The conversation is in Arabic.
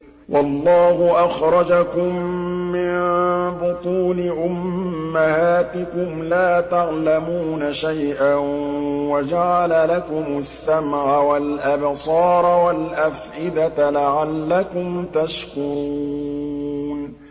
وَاللَّهُ أَخْرَجَكُم مِّن بُطُونِ أُمَّهَاتِكُمْ لَا تَعْلَمُونَ شَيْئًا وَجَعَلَ لَكُمُ السَّمْعَ وَالْأَبْصَارَ وَالْأَفْئِدَةَ ۙ لَعَلَّكُمْ تَشْكُرُونَ